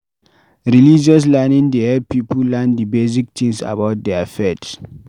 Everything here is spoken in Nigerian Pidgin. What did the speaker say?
Religious learning dey help pipo learn di basic things about their faith